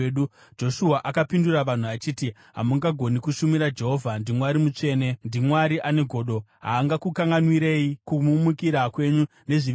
Joshua akapindura vanhu achiti, “Hamungagoni kushumira Jehovha. NdiMwari mutsvene; ndiMwari ane godo. Haangakukanganwirei kumumukira kwenyu nezvivi zvenyu.